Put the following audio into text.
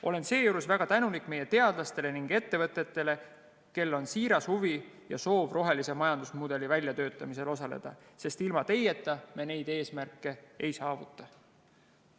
Olen seejuures väga tänulik meie teadlastele ning ettevõtetele, kellel on siiras huvi ja soov rohelise majandusmudeli väljatöötamisel osaleda, sest ilma teieta me neid eesmärke ei saavuta.